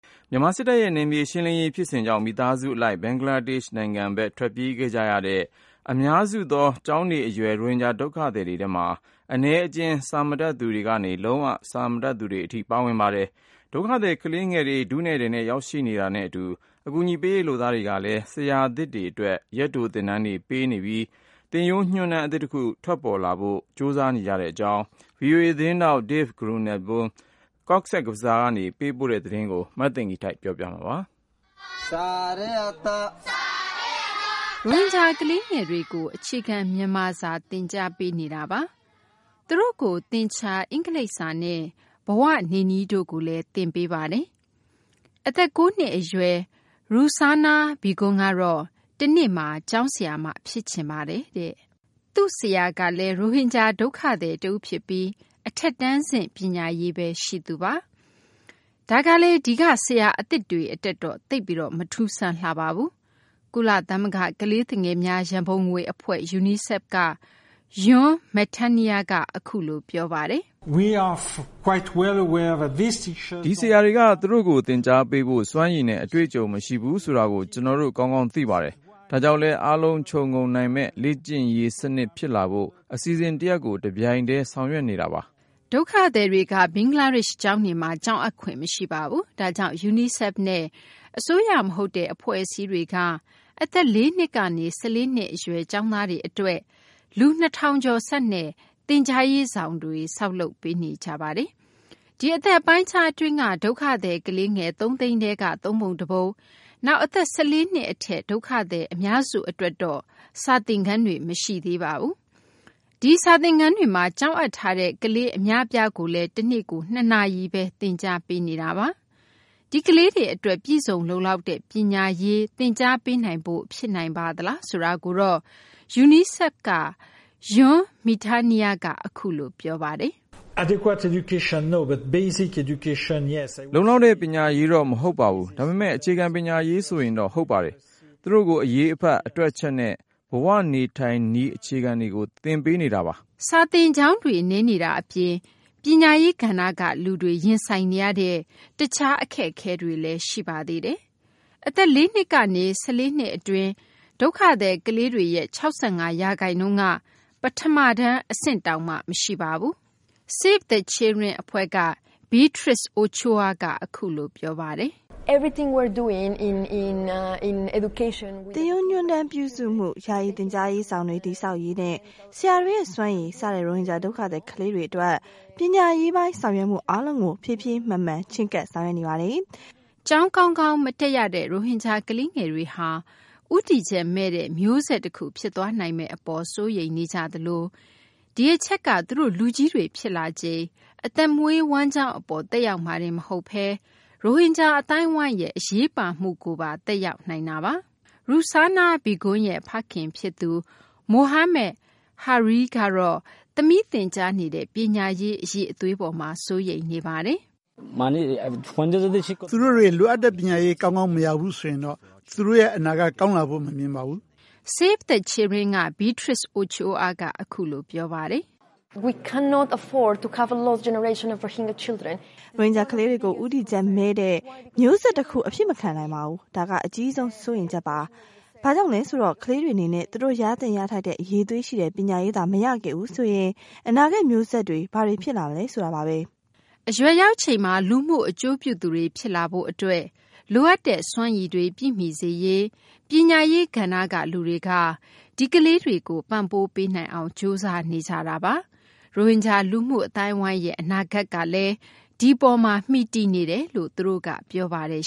မြန်မာ စစ်တပ်ရဲ့ ဖြိုခွင်းမှုတွေကြောင့် မိဘ ဆွေမျိုးတွေနဲ့ အတူ ဘင်္ဂလားဒေရှ့်ဘက် ထွက်ပြေးခဲ့ကြတဲ့ အများစုသော ကျောင်းနေအရွယ် ရိုဟင်ဂျာ ဒုက္ခသည်တွေဟာ အနည်းအကျဉ်း စာတတ်သူတွေကနေ လုံးဝ စာမတတ်သူတွေ ဖြစ်ပါတယ်။ ဒုက္ခသည် ကလေးငယ်တွေ ထုနဲ့ထည်နဲ့ ရောက်ရှိနေတာနဲ့ အတူ အကူအညီပေးရေး လုပ်သားတွေကလည်း ဆရာအသစ်တွေ အတွက် ရက်တို သင်တန်းတွေ ပေးနေပြီး သင်ရိုးညွှန်းတမ်း အသစ်တခု ထွက်လာဖို့အတွက်လည်း လုံးပမ်းနေကြရကြောင်း ဗွီအိုအေ သတင်းထောက် Dave Grunebaum က ဘင်္ဂလားဒေရှ့်နိုင်ငံ ကောဇ့်ဘဇားကနေ သတင်းပေးပို့ထားပါတယ်။ မသိင်္ဂီထိုက် ပြောပြပေးမှာပါ။ ရိုဟင်ဂျာ ကလေးငယ်တွေကို အခြေခံ မြန်မာစာ သင်ကြားပေးနေတာပါ။ သူတို့ကို သင်္ချာ၊ အင်္ဂလိပ်စာနဲ့ ဘဝနေနည်းတို့ကိုလည်း သင်ကြားပေးနေတာပါ။ အသက် ၉ နှစ် အရွယ် Ruksana Begum ကတော့ တနေ့မှာ ကျောင်းဆရာမ ဖြစ်ချင်တယ်လို့ ပြောပါတယ်။ "စာသင်နေရရင် ကျမ ပျော်ပါတယ်။" သူမရဲ့ ဆရာကလည်း ရိုဟင်ဂျာ ဒုက္ခသည် တဦးဖြစ်ပြီး အထက်တန်းဆင့် ပညာရေးပဲ ရှိသူပါ။ ဒါကလည်း ဒီက ဆရာအသစ်တွေ အတွက်တော့ သိပ်ပြီး မထူးဆန်းလှပါဘူး။ ကုလသမဂ္ဂ ကလေးသူငယ်များ ရံပုံငွေ အဖွဲ့ UNICEF က Jean Metenier က အခုလို ပြောပါတယ်။ "ဒီဆရာတွေက သူတို့ကို သင်ကြားပေးဖို့ စွမ်းရည်နဲ့ အတွေ့အကြုံ မရှိဘူးဆိုတာကို ကျနော်တို့ ကောင်းကောင်း သိပါတယ်။ ဒါကြောင့်လည်း အားလုံး ခြုံငုံနိုင်မယ့် လေ့ကျင့်ရေး စနစ်ဖြစ်လာဖို့ အစီအစဉ်တရပ်ကို တပြိုင်တည်း ဆောင်ရွက်နေတာပါ။" ဒုက္ခသည်တွေက ဘင်္ဂလားဒေရှ့် ကျောင်းတွေမှာ ကျောင်းအပ်ခွင့်မရှိပါဘူး။ ဒါကြောင့် UNICEFနဲ့ အစိုးရ မဟုတ်တဲ့ အဖွဲ့အစည်းတွေက အသက် ၄ နှစ်ကနေ ၁၄ နှစ်အရွယ် ကျောင်းသားတွေ အတွက် လူ ၂,၀၀၀ ကျာ်ဆန့်တဲ့ သင်ကြားရေးဆောင်တွေ ဆောက်လုပ်နေကြပါတယ်။ ဒီအသက်အပိုင်းအခြား အတွင်းက ဒုက္ခသည် ကလေးငယ် ၃၀၀,၀၀၀ ထဲက သုံးပုံတပုံ နောက် အသက် ၁၄ နှစ် အထက် ဒုက္ခသည် အများစု အတွက်တော့ စာသင်ခန်းတွေ မရှိသေးပါဘူး။ ဒီစာသင်ခန်းတွေမှာ ကျောင်းအပ်ထားတဲ့ ကလေး အများအပြားကိုလည်း တနေ့ကို ၂ နာရီပဲ သင်ကြားပေးနေတာပါ။ ဒီကလေးတွေ အတွက် ပြည့်စုံလုံလောက်တဲ့ ပညာရေး သင်ကြားပေးနိုင်ဖို့ ဖြစ်နိုင်ပါသလားဆိုတာကိုတော့ UNICEF က Jean Metenier က အခုလို ပြောပါတယ်။ "လုံလောက်တဲ့ ပညာရေးတော့ မဟုတ်ပါဘူး။ ဒါပေမယ့် အခြေခံ ပညာရေးဆိုရင်တော့ ဟုတ်ပါတယ်။ သူတို့ကို အရေးအဖတ်၊ အတွက်အချက်နဲ့ ဘဝ နေနည်းထိုင်နည်း အခြေခံတွေကို သင်ပေးနေတာပါ။" စာသင်ကျောင်းတွေ နည်းနေတာ အပြင် ပညာရေး ကဏ္ဍက လူတွေ ရင်ဆိုင်နေရတဲ့ တခြားအခက်အခဲတွေလည်း ရှိပါသေးတယ်။ အသက် ၄ နှစ်ကနေ ၁၄ နှစ် အတွင်း ဒုက္ခသည် ကလေးတွေရဲ့ ၆၅ ရာခိုင်နှုန်းက ပထမတန်းအဆင့်တောင်မှ မရှိပါဘူး။ Save the Children အဖွဲ့က Beatriz Ochoa က အခုလို ပြောပါတယ်။ "သင်ရိုးညွှန်းတမ်းပြုစုမှု၊ ယာယီ သင်ကြားရေးဆောင်တွေ တည်ဆောက်ရေးနဲ့ ဆရာတွေရဲ့ စွမ်းရည် စတဲ့ ရိုဟင်ဂျာ ဒုက္ခသည် ကလေးငယ်တွေ အတွက် ပညာရေးပိုင်း ဆောင်ရွက်မှု အားလုံးကို ဖြည်းဖြည်းမှန်မှန် ချဉ်းကပ် ဆောင်ရွက်နေပါတယ်။" ကျောင်း ကောင်းကောင်း မတက်ရတဲ့ ရိုဟင်ဂျာ ကလေးငယ်တွေဟာ ဦးတည်ချက်မဲ့တဲ့ မျိုးဆက်တခု ဖြစ်သွားနိုင်မယ့် အပေါ် စိုးရိမ်နေကြရသလို ဒီအချက်က သူတို့ လူကြီးတွေ ဖြစ်လာချိန် အသက်မွေးဝမ်းကျောင်း အပေါ် သက်ရောက်မှာတင် မဟုတ်ဘဲ ရိုဟင်ဂျာ အသိုင်းအဝိုင်းရဲ့ အရေးပါမှုကိုပါ သက်ရောက်နိုင်ပါတယ်။ Ruksana Begum ရဲ့ ဖခင် ဖြစ်သူ Mohammed Hares ကတော့ သမီးသင်ကြားနေတဲ့ ပညာရေး အရည်အသွေး အပေါ်မှာ စိုးရိမ်နေပါတယ်။ "သူတို့ လိုအပ်တဲ့ ပညာရေး ကောင်းကောင်း မရဘူးဆိုရင်တော့ သူတို့ အနာဂတ် ကောင်းလာဖို့ မမြင်ပါဘူး။" Save the Children က Beatriz Ochoa ကတော့ အခုလို ပြောပါတယ်။ "ရိုဟင်ဂျာ ကလေးတွေကို ဦးတည်ချက်မဲ့တဲ့ မျိုးဆက် တခု အဖြစ်မခံနိုင်ပါဘူး။ ဒါက အကြီးဆုံး စိုးရိမ်ချက်ပါ။ ဘာကြောင့်လဲ ဆိုတော့ ကလေးတွေ အနေနဲ့ သူတို့ရသင့် ရထိုက်တဲ့ အရည်အသွေးရှိတဲ့ ပညာရေးသာ မရခဲ့ဘူးဆိုရင် အနာဂတ် မျိုးဆက်တွေ ဘာတွေ ဖြစ်လာမလဲ ဆိုတာပါပဲ။" အရွယ်ရောက်ချိန်မှာ လူမှု အကျိုးပြုသူတွေ ဖြစ်လာရေး အတွက် လိုအပ်တဲ့ စွမ်းရည်တွေ ပြည့်မီစေရေး ပညာရေး ကဏ္ဍက လူတွေက ဒီကလေးတွေကို ပံ့ပိုး ပေးနိုင်အောင် ကြိုးစားနေကြတာပါ။ ရိုဟင်ဂျာ လူမှု အသိုင်းအဝိုင်းရဲ့ အနာဂတ်ကလည်း ဒီအပေါ်မှာ မှီတည်နေတယ်လို့လည်း သူတို့က ပြောပါတယ်